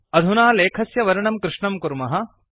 अधुना लेखस्य वर्णं कृष्णं कुर्मः